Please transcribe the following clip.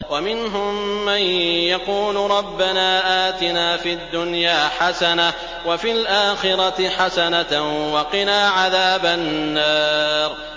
وَمِنْهُم مَّن يَقُولُ رَبَّنَا آتِنَا فِي الدُّنْيَا حَسَنَةً وَفِي الْآخِرَةِ حَسَنَةً وَقِنَا عَذَابَ النَّارِ